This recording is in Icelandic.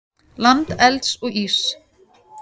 Land elds og íss.